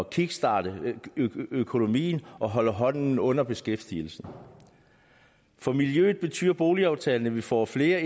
kickstarte økonomien og holde hånden under beskæftigelsen for miljøet betyder boligaftalen at vi får flere